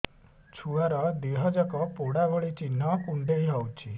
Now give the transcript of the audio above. ଛୁଆର ଦିହ ଯାକ ପୋଡା ଭଳି ଚି଼ହ୍ନ କୁଣ୍ଡେଇ ହଉଛି